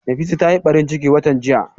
Nafisa ta yi ɓarin ciki watan jiya